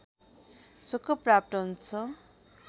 सुख प्राप्त हुन्छ